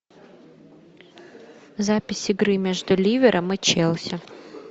запись игры между ливером и челси